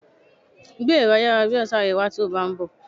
Gbé ẹ̀rọ ayárabíàṣá rẹ wá tí o bá ń bọ̀!